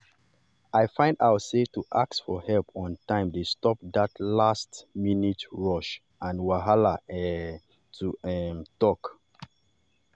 i find out sey to ask for help on time dey stop that last-minute rush and wahala um to um talk.